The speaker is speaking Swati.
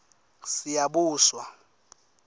siyabuswa